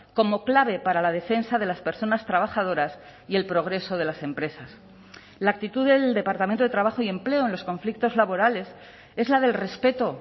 como clave para la defensa de las personas trabajadoras y el progreso de las empresas la actitud del departamento de trabajo y empleo en los conflictos laborales es la del respeto